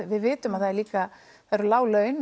við vitum að það eru líka lág laun